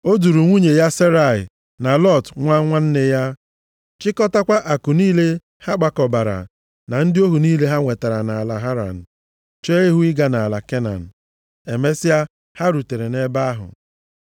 O duru nwunye ya Serai na Lọt nwa nwanne ya, chịkọtakwa akụ niile ha kpakọbara, na ndị ohu niile ha nwetara nʼala Haran, chee ihu ịga nʼala Kenan. Emesịa ha rutere nʼebe ahụ.